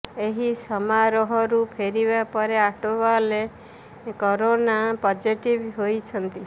ଏହି ସମାରୋହରୁ ଫେରିବା ପରେ ଆଠ୍ୱାଲେ କରୋନା ପଜିଟିଭ୍ ହୋଇଛନ୍ତି